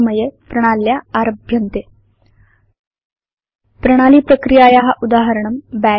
समये वा प्रणाल्या आरभ्यन्ते प्रणाली प्रक्रियाया उदाहरणं बश्